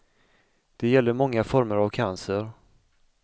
Det gäller många former av cancer.